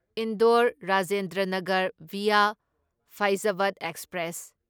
Indore Rajendra Nagar via Faizabad express